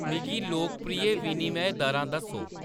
मिगी लोकप्रिय विनिमय दरां दस्सो